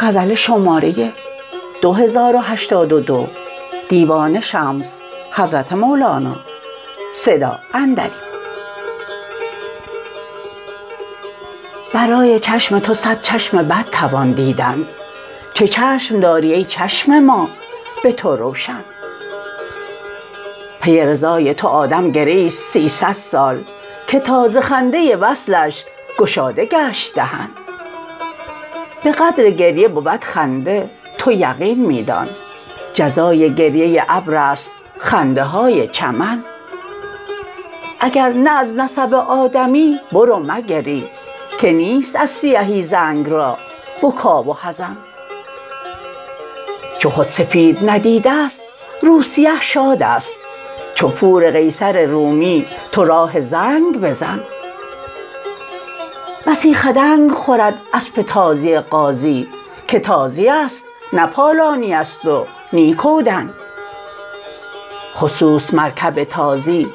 برای چشم تو صد چشم بد توان دیدن چه چشم داری ای چشم ما به تو روشن پی رضای تو آدم گریست سیصد سال که تا ز خنده وصلش گشاده گشت دهن به قدر گریه بود خنده تو یقین می دان جزای گریه ابر است خنده های چمن اگر نه از نسب آدمی برو مگری که نیست از سیهی زنگ را بکا و حزن چو خود سپید ندیده ست رو سیه شادست چو پور قیصر رومی تو راه زنگ بزن بسی خدنگ خورد اسپ تازی غازی که تازی است نه پالانی است و نی کودن خصوص مرکب تازی